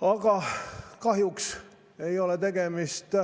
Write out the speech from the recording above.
Aga kahjuks ei ole tegemist